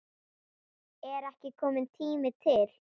Er ekki kominn tími til?